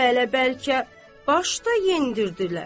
Hələ bəlkə başda yendirdilər.